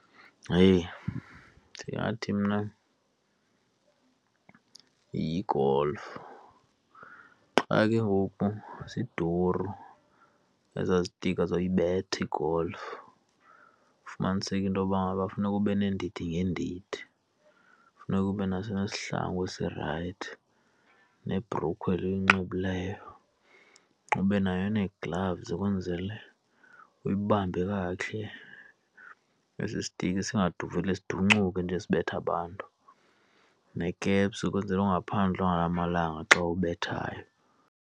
Heyi! Ndingathi mna yigolfu. Qha ke ngoku ziduru ezaa zitikha zoyibetha igolfu, ufumaniseke into yoba ngaba funeka ube neendidi ngeendidi. Funeka ube naso nesihlangu esirayithi nebhrukhwe le uyinxibileyo, ube nayo nee-gloves kwenzele uyibambe kakuhle, esi sitikhi singadubuli sidoncuke nje sibethe abantu. Nekepsi ukwenzela ungaphandlwa ngala malanga xa ubethayo.